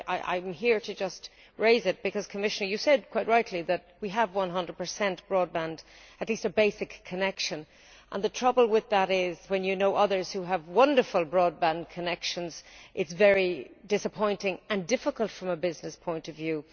I am here to just raise it because, Commissioner, you said quite rightly that we have 100 broadband at least a basic connection and the trouble with that is, when you know others who have wonderful broadband connections, it is very disappointing and difficult from a business point of view.